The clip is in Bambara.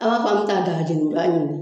an bɛ taa